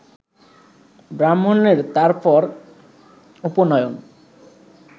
ব্রাহ্মণের তার পর উপনয়ন